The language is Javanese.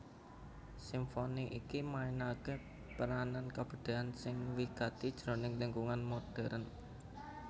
Simfoni iki mainaké peranan kabudayan sing wigati jroning lingkungan modhèrn